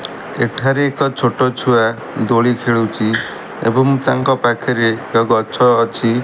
ଏଠାରେ ଏକ ଛୋଟ ଛୁଆ ଦୋଳି ଖେଳୁଚି ଏବଂ ତାଙ୍କ ପାଖରେ ଏକ ଗଛ ଅଛି।